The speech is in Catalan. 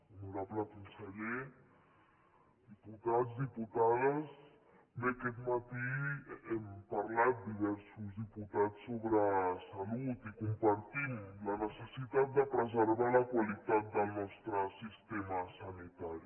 honorable conseller diputats diputades bé aquest matí hem parlat diversos diputats sobre salut i compartim la necessitat de preservar la qualitat del nostre sistema sanitari